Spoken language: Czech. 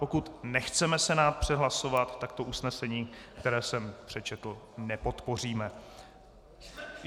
Pokud nechceme Senát přehlasovat, tak to usnesení, které jsem přečetl, nepodpoříme.